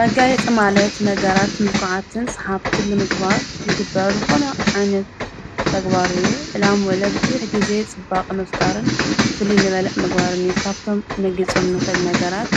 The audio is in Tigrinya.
መጋየፂ ማለት ነገራት ምልኩዓትን ሰሓብትን ምግባር ልግበረል ኾነ ዓይነት ተግባርዩ ዕላም ወለብ ብዙኅ ጊዜ ጽባቕ መፍጣርን ፍሊይ መለእ መግባርኒ ዩ ።ካብቶም ንገልጾም ንኽእል ነገራት